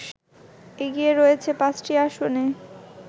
এগিয়ে রয়েছে ৫টি আসনে